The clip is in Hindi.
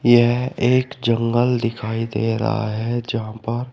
यह एक जंगल दिखाई दे रहा है जहां पर--